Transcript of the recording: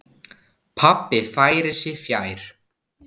Pabbi færir sig fjær.